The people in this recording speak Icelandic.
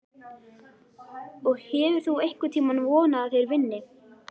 Og hefur þú einhvern tímann vonað að þeir vinni?